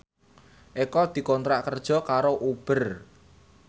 Eko dikontrak kerja karo Uber